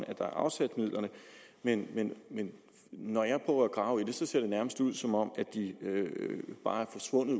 at der er afsat midler men men når jeg prøver at grave i det ser det nærmest ud som om de bare er forsvundet